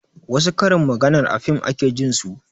Wassu karin maganar a fim ake jin su